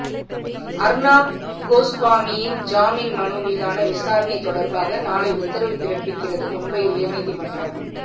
அர்னாப் கோஸ்வாமியின் ஜாமீன் மனு மீதான விசாரணை தொடர்பாக நாளை உத்தரவு பிறப்பிக்கிறது மும்பை உயர்நீதிமன்றம்